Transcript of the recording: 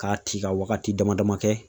Ka ci ka wagati dama dama kɛ